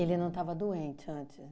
não estava doente antes